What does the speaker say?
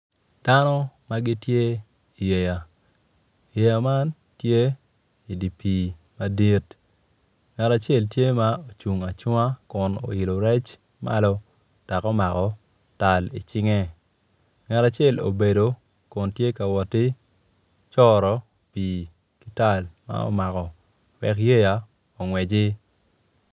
Dano ma gitye iyeya yeya man tye idi pii madit ngat acel tye ma ocung acunga kun oilo rec malo dok omako tal icinge ngat acel obedo kun tye ka woti coro pii ki tal ma omako wek yeya ongweci.